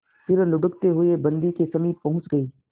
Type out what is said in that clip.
फिर लुढ़कते हुए बन्दी के समीप पहुंच गई